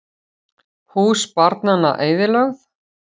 Hús barnanna eyðilögð